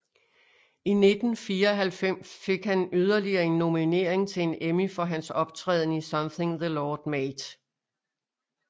I 1994 fik han yderligere en nominering til en Emmy for hans optræden i Something the Lord Made